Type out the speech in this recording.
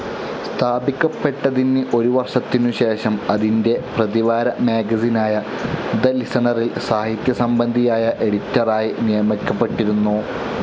സ്ഥാപിക്കപ്പെട്ടതിന് ഒരു വർഷത്തിനു ശേഷം അതിൻറെ പ്രതിവാര മാഗസിനായ തെ ലിസണറിൽ സാഹിത്യസംബന്ധിയായ എഡിറ്ററായി നിയമിക്കപ്പെട്ടിരുന്നു.